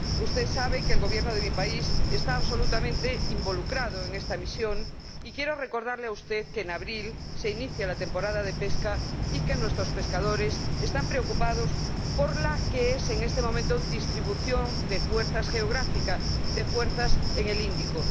Usted sabe que el gobierno de mi país está absolutamente involucrado en esta misión y quiero recordarle a usted que en abril se inicia la temporada de pesca y que nuestros pescadores están preocupados por la que es, en este momento, la distribución de fuerzas geográficas, de fuerzas, en el Índico.